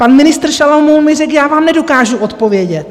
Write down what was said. Pan ministr Šalomoun mi řekl: Já vám nedokážu odpovědět.